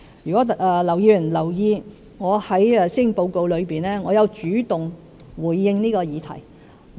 如果劉議員有留意，我在施政報告中已主動回應這項議題。